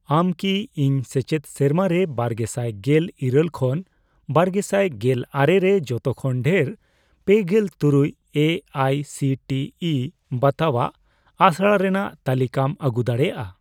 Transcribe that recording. ᱟᱢ ᱠᱤ ᱤᱧ ᱥᱮᱪᱮᱫ ᱥᱮᱨᱢᱟ ᱨᱮ ᱵᱟᱨᱜᱮᱥᱟᱭ ᱜᱮᱞ ᱤᱨᱟᱹᱞ ᱠᱷᱚᱱ ᱵᱟᱨᱜᱮᱥᱟᱭ ᱜᱮᱞ ᱟᱨᱮ ᱨᱮ ᱡᱚᱛᱚ ᱠᱷᱚᱱ ᱰᱷᱮᱨ ᱯᱮᱜᱮᱞ ᱛᱩᱨᱩᱭ ᱮ ᱟᱭ ᱥᱤ ᱴᱤ ᱤ ᱵᱟᱛᱟᱣᱟᱜ ᱟᱥᱲᱟ ᱨᱮᱱᱟᱜ ᱛᱟᱞᱤᱠᱟᱢ ᱟᱹᱜᱩ ᱫᱟᱲᱮᱭᱟᱜᱼᱟ?